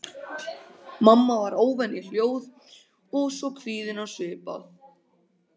Mamma var óvenju hljóð og svo kvíðin á svipinn að